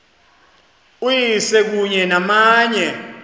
uyise kunye namanye